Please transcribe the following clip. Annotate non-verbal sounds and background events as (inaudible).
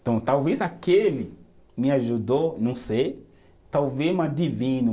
Então talvez aquele me ajudou, não sei, talvez (unintelligible)